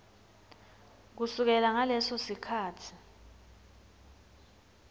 kusukela ngaleso sikhatsi